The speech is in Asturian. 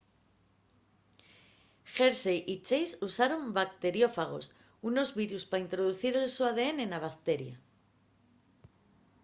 hershey y chase usaron bacteriófagos unos virus pa introducir el so adn na bacteria